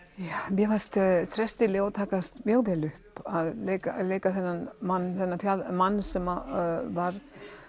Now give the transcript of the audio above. mér fannst Þresti Leó takast mjög vel upp að leika leika þennan mann þennan mann sem var